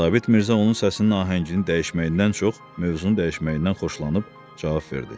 Sabit Mirzə onun səsinin ahəngini dəyişməyindən çox mövzunu dəyişməyindən xoşlanıb cavab verdi.